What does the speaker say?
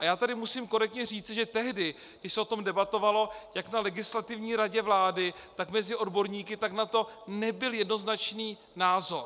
A já tady musím korektně říci, že tehdy, když se o tom debatovalo jak na Legislativní radě vlády, tak mezi odborníky, tak na to nebyl jednoznačný názor.